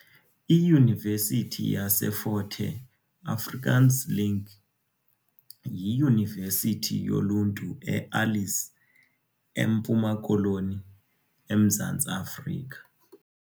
IYunivesithi yaseFort Hare, Afrikaans link, yiyunivesithi yoluntu eAlice, eMpuma Koloni, eMzantsi Afrika.